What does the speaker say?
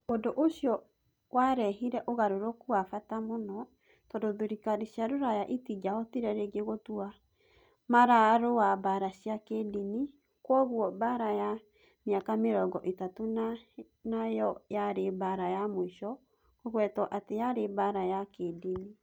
Ũndũ ũcio warehire ũgarũrũku wa bata mũno, tondũ thirikari cia Rũraya itingĩahotire rĩngĩ gũtua mararũa mbaara cia kĩĩndini. Kwoguo, Mbaara ya Mĩaka Mĩrongo Ĩtatũ nĩ yo yarĩ mbaara ya mũico kũgwetwo atĩ yarĩ mbaara ya kĩĩndini.